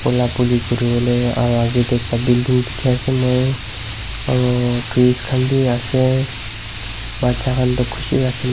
pola polo kuribo le aru age te ekta building dikhi ase moi aru trees khan bi ase bacha khan toh khushi para khili.